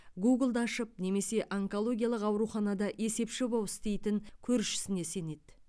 гуглды ашып немесе онкологиялық ауруханада есепші боп істейтін көршісіне сенеді